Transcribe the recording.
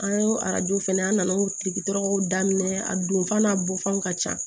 An ye arajow fɛnɛ an nan'o tigi tɔgɔ daminɛ a don f'a bɔ fanw ka ca